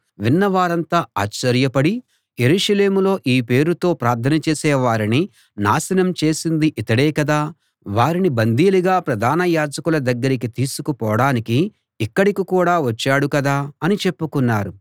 విన్నవారంతా ఆశ్చర్యపడి యెరూషలేములో ఈ పేరుతో ప్రార్థన చేసే వారిని నాశనం చేసింది ఇతడే కదా వారిని బందీలుగా ప్రధాన యాజకుల దగ్గరికి తీసుకుపోడానికి ఇక్కడికి కూడా వచ్చాడు కదా అని చెప్పుకున్నారు